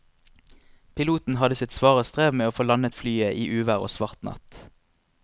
Piloten hadde sitt svare strev med å få landet flyet i uvær og svart natt.